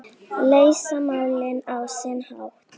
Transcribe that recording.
Leysa málin á sinn hátt.